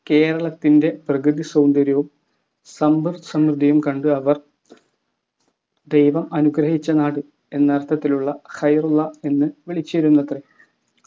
കേരളത്തിൻ്റെ പ്രകൃതി സൗന്ദര്യവും സമ്പദ്സമൃദ്ധിയും കണ്ട് അവർ ദൈവം അനുഗ്രഹിച്ച നാട് എന്നർത്ഥത്തിലുള്ള എന്ന് വിളിച്ചിരുന്നത്രെ